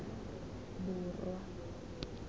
borwa